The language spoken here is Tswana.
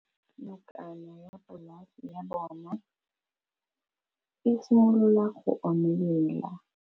Nokana ya polase ya bona, e simolola go omelela.